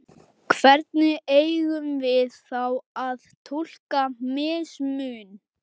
Hvernig eigum við þá að túlka mismun?